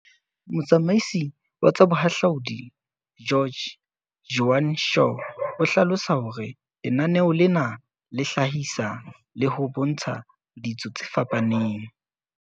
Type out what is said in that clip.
Motsamaisi wa tsa Boha hlaudi George, Joan Shaw, o hlalosa hore lenaneo lena le hlahisa le ho bontsha ditso tse fapaneng.